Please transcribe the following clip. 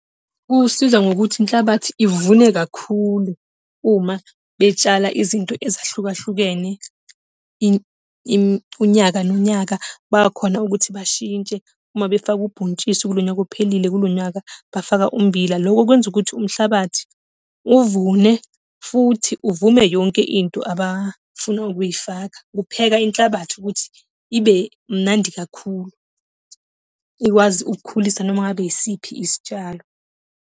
Kusiza ngokuthi inhlabathi ivune kakhulu, uma betshala izinto ezahlukahlukene, unyaka nonyaka bayakhona ukuthi bashintshe. Uma befake ubhontshisi kulo nyaka ophelile, kulo nyaka, bafaka ummbila. Lokho kwenza ukuthi umhlabathi uvune, futhi uvume yonke into abafuna ukuyifaka. Kupheka inhlabathi ukuthi ibe mnandi kakhulu, ikwazi ukukhulisa noma ngabe yisiphi isitshalo.